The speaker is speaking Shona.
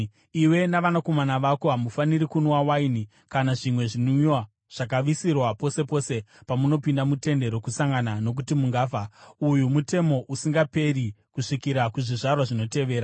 “Iwe navanakomana vako hamufaniri kunwa waini kana zvimwe zvinwiwa zvakaviriswa pose pose pamunopinda muTende Rokusangana nokuti mungafa. Uyu mutemo usingaperi kusvikira kuzvizvarwa zvinotevera.